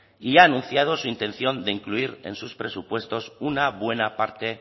y ya ha anunciado su intención de incluir en sus presupuestos una buena parte